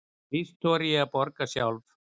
Víst þori ég að hugsa sjálf.